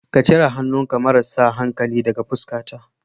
Ka cire hannunka marasa hankali daga fuskata.